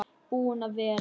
Búinn að vera.